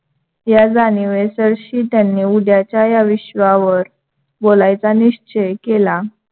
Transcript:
या जाणिवेसरशी त्यांनी उद्याच्या या विश्वावर बोलायचा निश्चय केला.